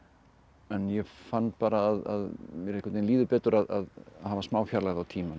en ég fann bara að mér einhvern veginn líður betur að hafa smá fjarlægð á tímann og